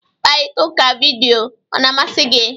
Mkparịta ụka vidiyo ọ na-amasị gị?